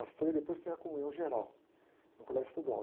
O e depois tem a comunhão geral, no colégio estadual.